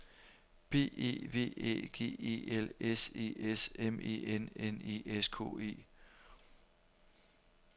B E V Æ G E L S E S M E N N E S K E